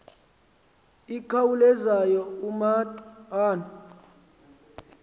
ikhawulezayo umatu ono